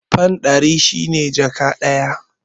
Fan ɗari shi ne jaka ɗaya.